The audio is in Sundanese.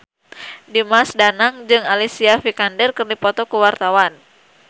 Dimas Danang jeung Alicia Vikander keur dipoto ku wartawan